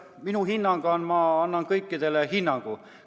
Ma annan neile kõikidele hinnangu.